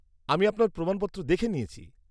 আমি আপনার প্রমাণপত্র দেখে নিয়েছি।